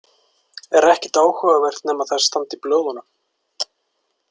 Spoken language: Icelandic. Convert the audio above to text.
Er ekkert áhugavert nema það standi í blöðunum?